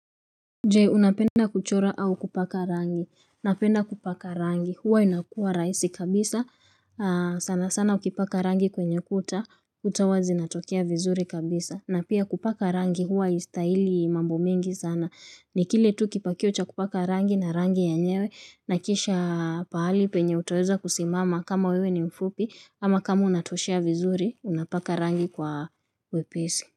Jee unapenda kuchora au kupaka rangi, napenda kupaka rangi, huwa inakuwa rahisi kabisa, sana sana ukipaka rangi kwenye kuta, uta huwa zinatokea vizuri kabisa, na pia kupaka rangi huwa haistahili mambo mengi sana, ni kile tu kipakio cha kupaka rangi na rangi yenyewe, na kisha pahali penye utaweza kusimama kama wewe ni mfupi, ama kama unatoshea vizuri, unapaka rangi kwa wepesi.